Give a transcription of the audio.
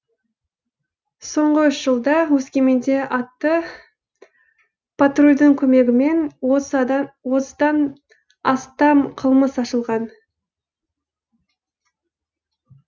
соңғы үш жылда өскеменде атты патрулдің көмегімен отыздан астам қылмыс ашылған